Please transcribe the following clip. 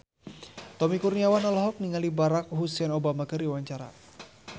Tommy Kurniawan olohok ningali Barack Hussein Obama keur diwawancara